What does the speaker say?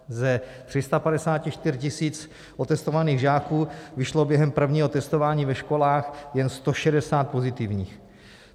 Z 354 000 otestovaných žáků vyšlo během prvního testování ve školách jen 160 pozitivních.